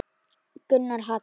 Gunnar Hall.